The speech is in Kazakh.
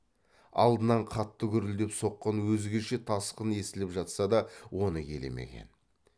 алдынан қатты гүрілдеп соққан өзгеше тасқын естіліп жатса да оны елемеген